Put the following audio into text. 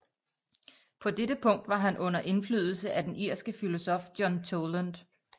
På dette punkt var han under indflydelse af den irske filosof John Toland